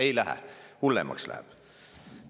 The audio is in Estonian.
Ei lähe, hullemaks läheb.